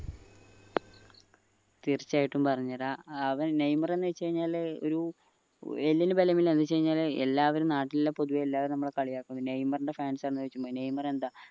തീർച്ചയായിട്ടും പറഞ്ഞു തരാ ഏർ നെയ്മർ എന്ന് വെച് കഴിഞ്ഞ ഒരു എല്ലിന് ബലമില്ല എന്ന് വെച്ച് കഴിഞ്ഞ എല്ലാവരും നാട്ടിലെ പൊതുവേ എല്ലാവരും നമ്മളെ കളിയാക്കുന്ന നെയ്മറിന്റ fans നെയ്മർ എന്താ